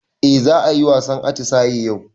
Eh za ayi wasan atisaye yau